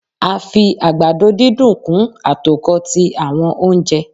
a fi àgbàdo dídùn kun atokọ ti awọn ounjẹ.